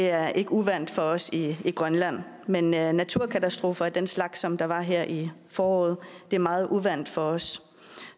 er ikke uvant for os i grønland men naturkatastrofer af den slags som der var her i foråret er meget uvant for os